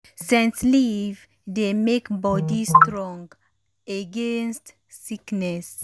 scent leaf dey make body strong against um sickness.